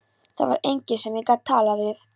Það var enginn sem ég gat talað við.